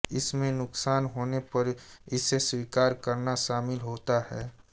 इसमें नुकसान होने पर इसे स्वीकार करना शामिल होता है